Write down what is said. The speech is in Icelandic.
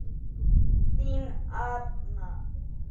Þín Arna.